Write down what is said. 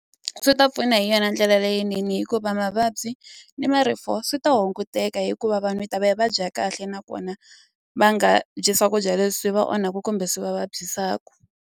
Swi ta pfuna hi yona ndlela leyinene hikuva mavabyi ni marifu swi ta hunguteka hikuva vanhu yi ta va yi va dya kahle nakona va nga byi swakudya leswi va onhaku kumbe swi va vabyisaku.